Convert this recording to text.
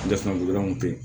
ten